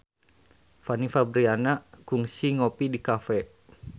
Fanny Fabriana kungsi ngopi di cafe